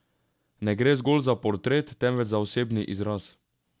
Ne gre zgolj za portret, temveč za osebni izraz.